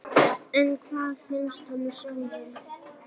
En hvað finnst honum sjálfum?